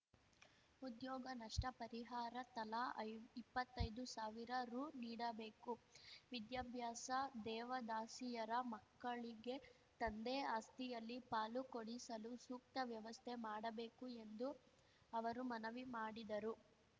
ಉದ್ಯೋಗ ನಷ್ಟಪರಿಹಾರ ತಲಾ ಐ ಇಪ್ಪತ್ತೈದು ಸಾವಿರ ರು ನೀಡಬೇಕು ವಿದ್ಯಾಭ್ಯಾಸ ದೇವದಾಸಿಯರ ಮಕ್ಕಳಿಗೆ ತಂದೆ ಆಸ್ತಿಯಲ್ಲಿ ಪಾಲು ಕೊಡಿಸಲು ಸೂಕ್ತ ವ್ಯವಸ್ಥೆ ಮಾಡಬೇಕು ಎಂದು ಅವರು ಮನವಿ ಮಾಡಿದರು